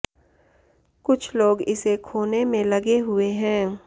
कुछ लोग इसे खोने में लगे हुए हैं